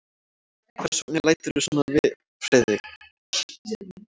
Hvers vegna læturðu svona, Friðrik?